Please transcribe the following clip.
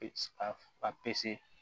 A